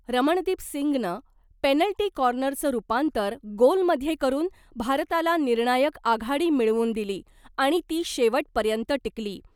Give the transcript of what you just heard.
रमणदीपसिंगनं penalty कॉर्नरचं रूपांतर गोलमध्ये करून, भारताला निर्णायक आघाडी मिळवून दिली आणि ती शेवटपर्यंत टिकली .